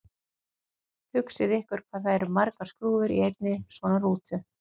Hugsið ykkur hvað það eru margar skrúfur í einni svona rútu!